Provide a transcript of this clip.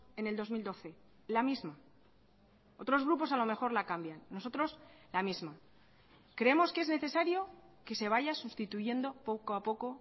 en el dos mil doce la misma otros grupos a lo mejor la cambian nosotros la misma creemos que es necesario que se vaya sustituyendo poco a poco